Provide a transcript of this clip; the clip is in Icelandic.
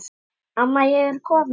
Amma ég er komin